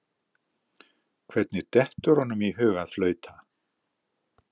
Hvernig dettur honum í hug að flauta?